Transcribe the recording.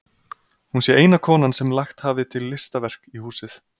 Hún sé eina konan sem lagt hafi til listaverk í húsið.